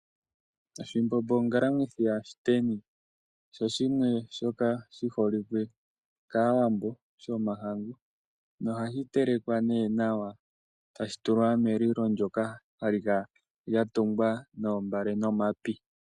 Oshimbombo ongalamwithi yaShiteni, osho shimwe shoka shi holike kaayambo shomahangu na ohashi telekwa nee nawa e tashi tulwa melilo lyoka hali kala lyatungwa noombale nomapi.